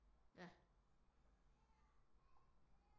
Ja